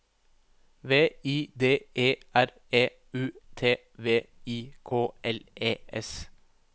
V I D E R E U T V I K L E S